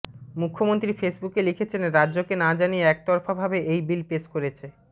মুখ্যমন্ত্রী ফেসবুকে লিখেছেন রাজ্যকে না জানিয়ে একতরফাভাবে এই বিল পেশ করেছে